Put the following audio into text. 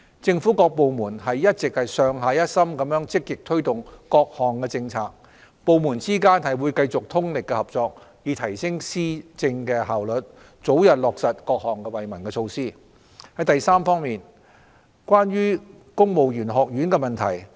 政府各部門一直上下一心積極推動各項政策，部門之間會繼續通力合作，以提升施政效率，早日落實各項惠民措施。三此外，關於公務員學院的問題。